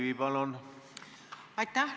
Aitäh!